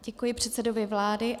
Děkuji předsedovi vlády.